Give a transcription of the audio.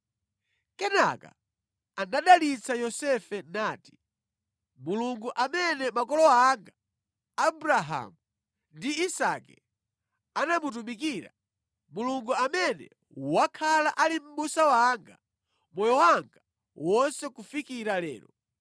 Kenaka anadalitsa Yosefe nati, “Mulungu amene makolo anga Abrahamu ndi Isake anamutumikira, Mulungu amene wakhala ali mʼbusa wanga moyo wanga wonse kufikira lero,